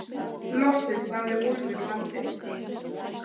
Loksins náði Úlfur landi.